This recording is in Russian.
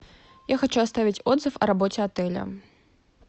я хочу оставить отзыв о работе отеля